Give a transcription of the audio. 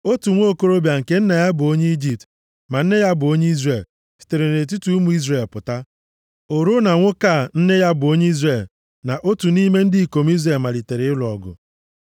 Otu nwokorobịa, nke nna ya bụ onye Ijipt ma nne ya bụ onye Izrel, sitere nʼetiti ụmụ Izrel pụta. O ruo na nwoke a nne ya bụ onye Izrel na otu nʼime ndị ikom Izrel malitere ịlụ ọgụ.